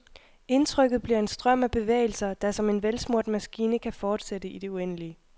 Indtrykket bliver en strøm af bevægelser, der som en velsmurt maskine kan fortsætte i det uendelige.